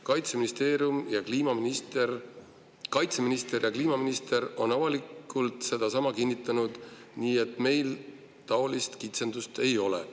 Kaitseministeerium ja kliimaminister on avalikult sedasama kinnitanud, nii et meil taolist kitsendust ei ole.